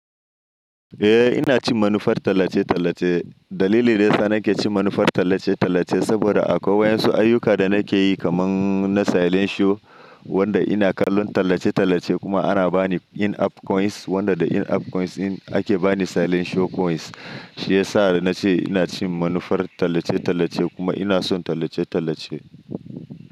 Eh ina cin manufar tallace-tallace. Dalili dayasa nake cin manufar tallace-tallace saboda akwai wayansu ayyuka da nake yi kaman na selencio wanda ina kallon tallace-tallace kuma ana bani in-app coins wanda da in-app coins ake bani selencio coins. Shi ya sa na ce ina cin manufar tallace-tallace kuma ina son tallace-tallace.